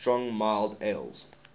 strong mild ales